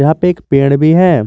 यहां पे एक पेड़ भी है।